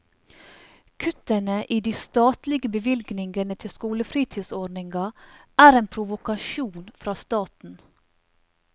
Kuttene i de statlige bevilgningene til skolefritidsordniga er en provokasjon fra staten.